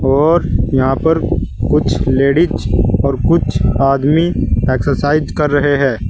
और यहाँ पर कुछ लेडिस और कुछ आदमी एक्सरसाइज कर रहे हैं।